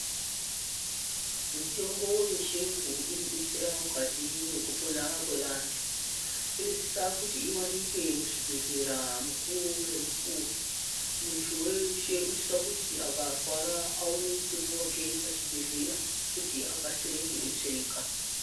Mitombo yechiyungu inodetsera mukati mwekupona kwevantu. Inosise kuti ionekwa muzvibhedhlera mukuwo ngemukuwo. Muntu weshe unosise kuti akarwara aone mutombo wake pachibhedhera kuti aone kukasire kupona.